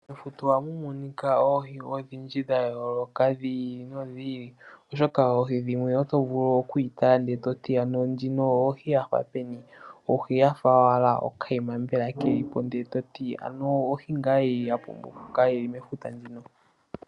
Mefuta ohamu monika oohi odhindji dha yooloka dhi ili nodhi ili, oshoka oohi dhimwe oto vulu oku yi tala e toti ano ndjino ohi yafa peni? Ohi yafa owala okayima mbela kelipo nde toti ano ohi ngaa ya pumbwa okukala yili mefuta ndjino?